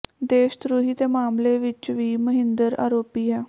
ਦੇਸ਼ ਧ੍ਰੋਹੀ ਦੇ ਮਾਮਲੇ ਵਿੱਚ ਵੀ ਮਹਿੰਦਰ ਆਰੋਪੀ ਹੈ